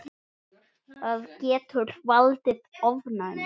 Það getur valdið ofnæmi.